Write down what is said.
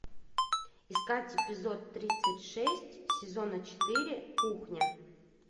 искать эпизод тридцать шесть сезона четыре кухня